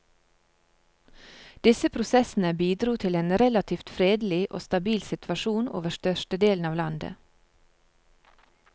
Disse prosessene bidro til en relativt fredelig og stabil situasjon over størstedelen av landet.